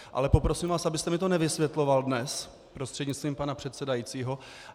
Ale poprosím vás, abyste mi to nevysvětloval dnes, prostřednictvím pana předsedajícího.